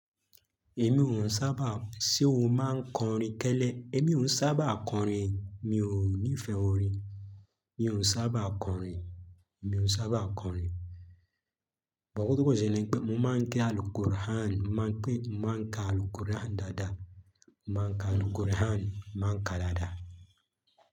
Èmi ò sábà, ṣe o máa ń kọrin kẹ́ẹ́lẹ̀? Èmi ò sábà kọrin, mi ò ní fẹ́ orin. Mi òún sábà kọrin, mi òún sábà kọrin. Bó òun tó kò sele ni pé mo máa ń ké Al Qur'an, mo máa ń ké, mo máa ń ka Al Qur'an dáadáa. Mo máa ń ka Al Qur'an, mo máa ń ka dáadáa.